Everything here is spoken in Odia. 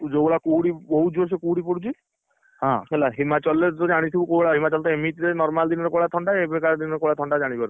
ତୁ ଯୋଉଭଳିଆ କୁହୁଡି ବହୁତ ଜୋରସେ କୁହୁଡି ପଡୁଛି, ହେଲା ହିମାଚଳରେ ତୁ ଜାଣିଥିବୁ କୋଉ ଭଳିଆ ହିମାଚଳ ତ ଏମତି ରେ normal ଦିନରେ କୋଉ ଭଳିଆ ଥଣ୍ଡା ଏବେ କା ଦିନରେ କୋଉଭଳିଆ ଥଣ୍ଡା ଜାଣିପାରୁଥିବୁ।